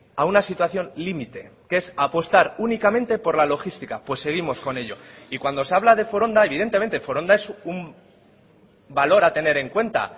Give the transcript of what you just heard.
a una situación límite que es apostar únicamente por la logística pues seguimos con ello y cuando se habla de foronda evidentemente foronda es un valor a tener en cuenta